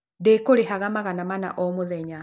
Ndĩkũrĩhaga magana mana o mũthenya.